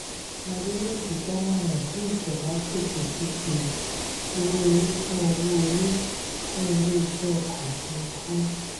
adeniji dámọ̀ràn kí ìjọba pèsè fífi owó orí fún owó orí fún ilé iṣẹ́ ọkọ̀ òfuurufú.